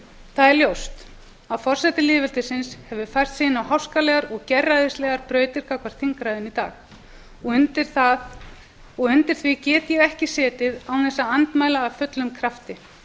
það er ljóst að forseti lýðveldisins hefur fært sig inn á háskalegar og gerræðislegar brautir gagnvart þingræðinu í dag og undir því get ég ekki setið án þess að andmæla af fullum krafti